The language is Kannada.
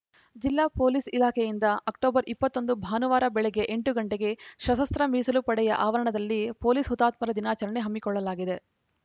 ಜಿಲ್ಲಾ ಪೊಲೀಸ್‌ ಇಲಾಖೆಯಿಂದ ಅಕ್ಟೋಬರ್ ಇಪ್ಪತ್ತ್ ಒಂದು ಭಾನುವಾರ ಬೆಳಗ್ಗೆ ಎಂಟು ಗಂಟೆಗೆ ಸಶಸ್ತ್ರ ಮೀಸಲು ಪಡೆಯ ಆವರಣದಲ್ಲಿ ಪೊಲೀಸ್‌ ಹುತಾತ್ಮರ ದಿನಾಚರಣೆ ಹಮ್ಮಿಕೊಳ್ಳಲಾಗಿದೆ